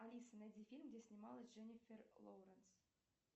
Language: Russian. алиса найди фильм где снималась дженифер лоуренс